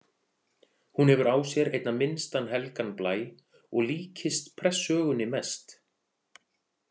Hún hefur á sér einna minnstan helgan blæ og líkist Prestssögunni mest.